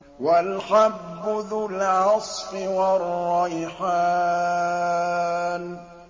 وَالْحَبُّ ذُو الْعَصْفِ وَالرَّيْحَانُ